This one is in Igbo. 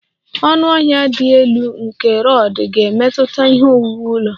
Ọnụahịa dị elu nke rod ga-emetụta ihe owuwu ụlọ